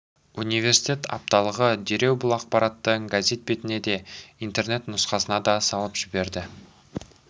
университет апталығы дереу бұл ақпаратты газет бетіне де интернет нұсқасына да салып жіберді